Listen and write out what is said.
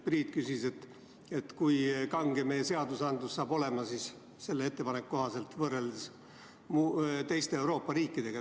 Priit küsis, kui kange meie seadus selle ettepaneku kohaselt saab olema võrreldes teiste Euroopa riikide seadustega.